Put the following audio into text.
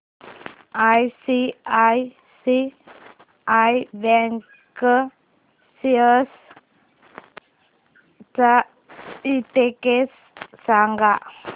ICICI bank shares चा index सांगा